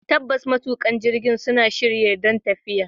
Tabbas, matuƙan jirgin suna shirye don tafiya.